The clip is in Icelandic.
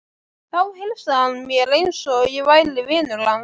Þá heilsaði hann mér eins og ég væri vinur hans.